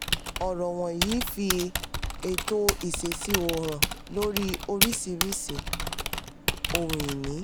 ọ̀rọ̀ wọnyìí fi ètò ìṣèṣirò hàn lórí oríṣìíríṣìí ohun ìní.